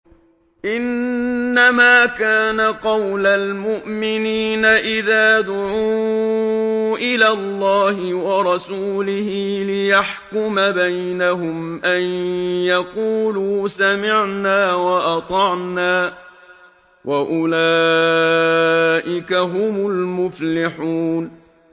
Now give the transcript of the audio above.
إِنَّمَا كَانَ قَوْلَ الْمُؤْمِنِينَ إِذَا دُعُوا إِلَى اللَّهِ وَرَسُولِهِ لِيَحْكُمَ بَيْنَهُمْ أَن يَقُولُوا سَمِعْنَا وَأَطَعْنَا ۚ وَأُولَٰئِكَ هُمُ الْمُفْلِحُونَ